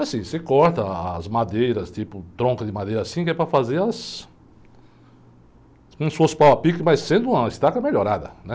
Assim, você corta ah, as madeiras, tipo, tronco de madeira assim, que é para fazer as... Como se fosse pau a pique, mas sendo uma estaca melhorada, né?